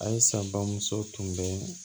Ayisa bamuso tun bɛ